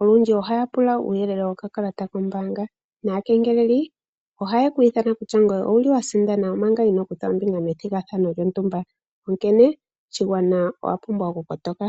Olundji ohaya pula uuyelele wokakalata kombaanga. Aakengeleli ohaye ku ithana kutya owa sindana, omanga inoo kutha ombinga methigathano lyontumba, onkene shigwana owa pumbwa okukotoka.